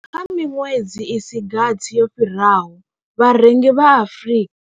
Kha miṅwedzi i si gathi yo fhiraho, vharengi vha Afrika.